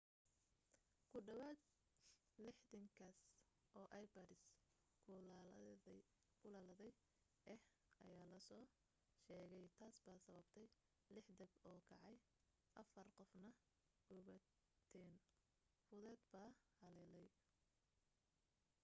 ku dhawaad 60 kiis oo ipods kululaaday ah ayaa la soo sheegay taas baa sababtay lix dab oo kacay afar qofna gubitaan fudud baa haleelay